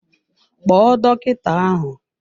Kpo dọkịta ahụ!